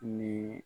Ni